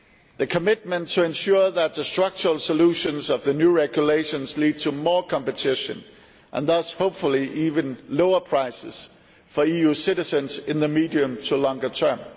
the commitment to ensure that the structural solutions of the new regulations lead to more competition and thus hopefully even lower prices for EU citizens in the medium to longer term